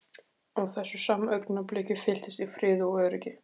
Á þessu sama augnabliki fylltist ég friði og öryggi.